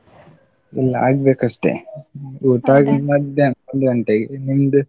ಇಲ್ಲ ಆಗ್ಬೇಕಷ್ಟೆ, ಊಟ ಆಗುದ್ ಮಧ್ಯಾಹ್ನ ಒಂದು ಗಂಟೆಗೆ, ನಿಮ್ದು?